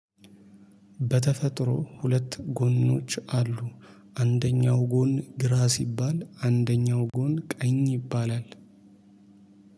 በተፈጥሮ ሁለት ጎኖች አሉ። አንደኛው ጎን ግራ ሲባል አንደኛው ጎን ቀኝ ይባላል።